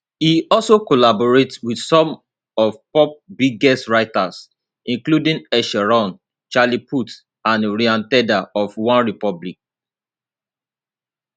e also collaborate with some of pop biggest writers including ed sheeran charlie puth and ryan tedder of onerepublic